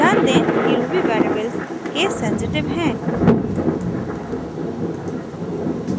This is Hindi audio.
ध्यान दें कि ruby वेरिएबल्स केस सेंसिटिव हैं